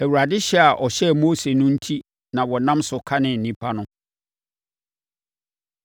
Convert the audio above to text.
Awurade hyɛ a ɔhyɛɛ Mose no enti na wɔnam so kanee nnipa no.